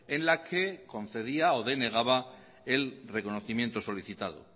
en la que concedía o denegaba el reconocimiento solicitado